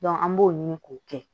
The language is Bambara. an b'o ɲini k'o kɛ